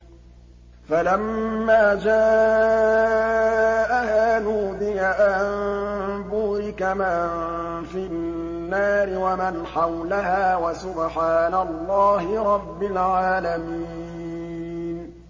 فَلَمَّا جَاءَهَا نُودِيَ أَن بُورِكَ مَن فِي النَّارِ وَمَنْ حَوْلَهَا وَسُبْحَانَ اللَّهِ رَبِّ الْعَالَمِينَ